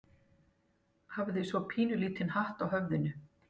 Hafði svo pínulítinn hatt á höfðinu.